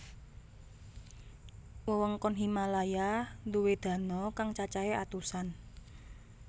Wewengkon Himalaya duwé dano kang cacahe atusan